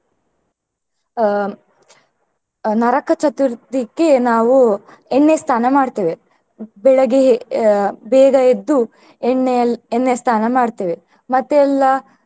ಅಹ್ ನರಕ ಚತುರ್ಥಿಗೆ ನಾವು ಎಣ್ಣೆ ಸ್ನಾನ ಮಾಡ್ತೇವೆ ಬೆಳಗ್ಗೆ ಅಹ್ ಬೇಗ ಎದ್ದು ಎಣ್ಣೆ ಎಲ್ಲ ಎಣ್ಣೆ ಸ್ನಾನ ಮಾಡ್ತೇವೆ ಮತ್ತೆ ಎಲ್ಲಾ.